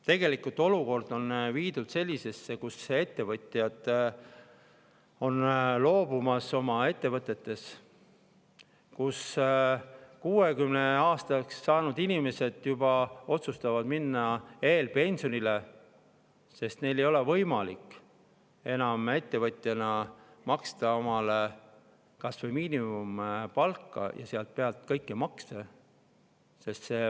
Tegelikult on olukord selline, kus ettevõtjad on loobumas oma ettevõtetest, 60‑aastaseks saanud inimesed otsustavad minna juba eelpensionile, sest neil ei ole võimalik enam ettevõtjana maksta omale kas või miinimumpalka ja selle pealt kõiki makse.